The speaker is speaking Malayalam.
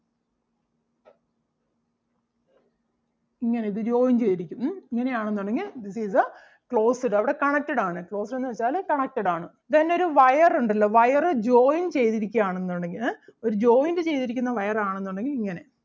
ഇങ്ങനെ ഇത് joint ചെയ്തിരിക്കും ഉം ഇങ്ങനെ ആണെന്നുണ്ടെങ്കിൽ this is the closed അവിടെ connected ആണ് closed എന്ന് വെച്ചാല് connected ആണ്. Then ഒരു wire ഒണ്ടല്ലോ wire join ചെയ്‌തിരിക്കുകയാണെന്നുണ്ടെങ്കിൽ ഏഹ് ഒരു joint ചെയ്തിരിക്കുന്ന wire ആണെന്നുണ്ടെങ്കിൽ ഇങ്ങനെ